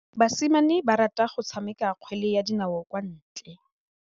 Basimane ba rata go tshameka kgwele ya dinaô kwa ntle.